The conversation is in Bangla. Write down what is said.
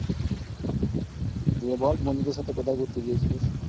দিয়ে বল বন্ধুদের সাথে কোথায় ঘুরতে গিয়েছিলিস?